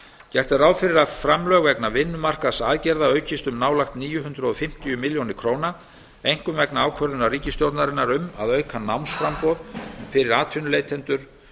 gert er ráð fyrir að framlög vegna vinnumarkaðsaðgerða aukist um nálægt níu hundruð fimmtíu milljónir króna einkum vegna ákvörðunar ríkisstjórnarinnar um að auka námsframboð fyrir atvinnuleitendur